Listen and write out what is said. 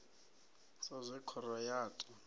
sa zwe khoro ya ta